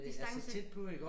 Distance